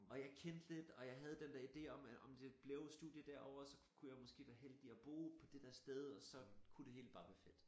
Og jeg kendte lidt og jeg havde den dér idé om at om det blev studie derovre så kunne jeg måske være heldig at bo på det der sted og så kunne det hele bare være fedt